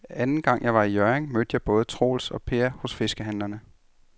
Anden gang jeg var i Hjørring, mødte jeg både Troels og Per hos fiskehandlerne.